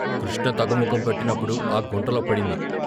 కృష్ణ తగ్గుముఖం పట్టినప్పుడు ఆ గుంటలో పడింది.